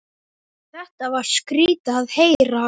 Þetta var skrýtið að heyra.